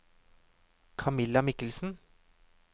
Camilla Michelsen